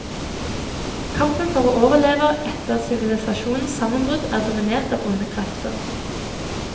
Kampen for å overleve etter sivilisasjonens sammenbrudd er dominert av onde krefter.